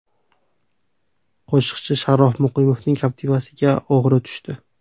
Qo‘shiqchi Sharof Muqimovning Captiva’siga o‘g‘ri tushdi.